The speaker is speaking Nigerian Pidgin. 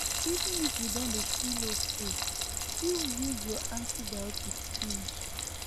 even if you don dey feel okay still use your antibiotics finish